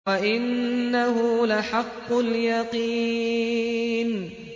وَإِنَّهُ لَحَقُّ الْيَقِينِ